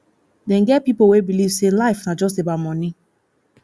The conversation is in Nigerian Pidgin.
dem get pipo wey believe sey life na just about money